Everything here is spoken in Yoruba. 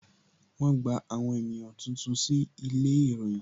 Wọn gba àwọn ènìyàn tuntun sí ilé ìròyìn